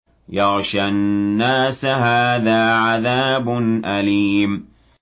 يَغْشَى النَّاسَ ۖ هَٰذَا عَذَابٌ أَلِيمٌ